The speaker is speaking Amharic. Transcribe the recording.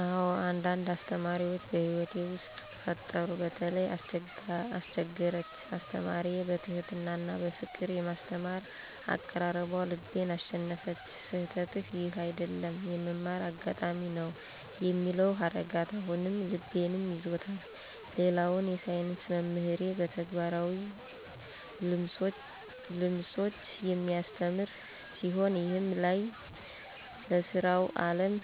አዎ፣ አንዳንድ አስተማሪዎች በሕይወቴ ውስጥ ፈጠሩ። በተለይ አስችገርቻ አስተማሪዬ በትሕትና እና በፍቅር የማስተማር አቀራረቧ ልቤን አሸነፈች። "ስህተትህ ይህ አይደለም፣ የመማር አጋጣሚ ነው" የሚለው ሀረጋት አሁንም ልቤንም ይዞታል። ሌላውን የሳይንስ መምህሬ በተግባራዊ ልምሶች የሚያስተምር ሲሆን፣ ይህም ለይ ለሥራዊ ዓለም